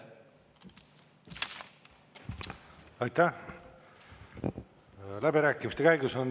Aitäh!